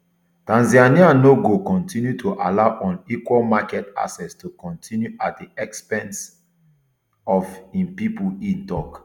tanzania no go continue to allow unequal market access to continue at di expense of im pipo e tok